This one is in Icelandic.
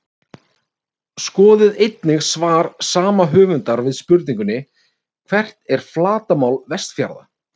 Skoðið einnig svar sama höfundar við spurningunni Hvert er flatarmál Vestfjarða?